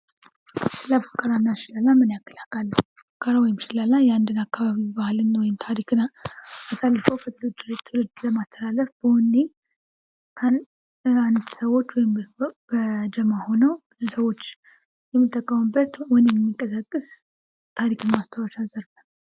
ስለ ፉከራና ሽለላ ምን ያክል ያውቃሉ? ፉከራና ሽለላ ባህልን ወይም ታሪክን ለትውልድ ለማስተላለፍ በወኔ ሰወች በጀማ ሁነው የሚጠቀሙበት ወኔን የሚቀሰቅስ ታሪክን ማስታወሻ ዘርፍ።